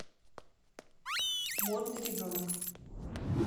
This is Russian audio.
модный ребенок